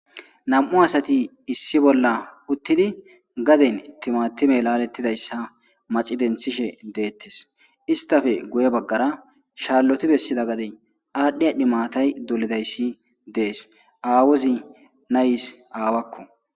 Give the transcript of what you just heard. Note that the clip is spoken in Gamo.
nam7u asati issi bolla uttidi gaden timatime laalettidayssa maci denthishe deettes istafe guye baggara shaalloti bessida gadey aadhdhi adhdhi maatay dolidayssi dees aawozi nayis aawakko